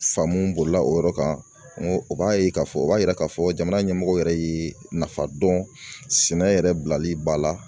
Faamu bolila o yɔrɔ kan o b'a ye k'a fɔ o b'a yira k'a fɔ jamana ɲɛmɔgɔ yɛrɛ ye nafa dɔn sɛnɛ yɛrɛ bilali ba la